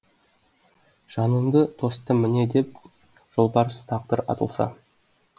жанымды тостым міне деп жолбарыс тағдыр атылса